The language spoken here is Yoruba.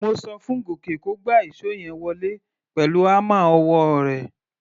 Mo so fún Gòkè kó gba ìṣó yẹn wọlé pẹ̀lú hámà ọwọ́ rẹ̀.